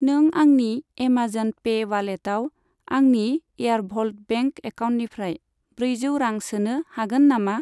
नों आंनि Amazon pay वालेटआव आंनि एयारभल्ट बेंक एकाउन्टनिफ्राय ब्रैजौ रां सोनो हागोन नामा?